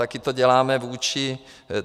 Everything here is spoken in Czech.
Taky to děláme vůči...